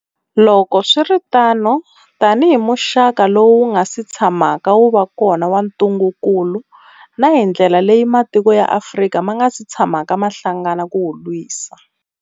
Loko swi ri tano, tanihi muxaka lowu wu nga si tshamaka wu va kona wa ntungukulu, na hi ndlela leyi matiko ya Afrika ma nga si tshamaka ma hlangana ku wu lwisa.